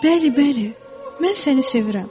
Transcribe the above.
Bəli, bəli, mən səni sevirəm.